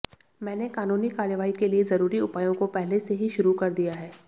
मैंने कानूनी कार्रवाई के लिए ज़रूरी उपायों को पहले से ही शुरू कर दिया है